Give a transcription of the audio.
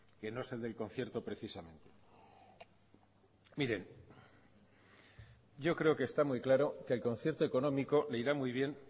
que no es el del concierto precisamente miren yo creo que está muy claro que el concierto económico le irá muy bien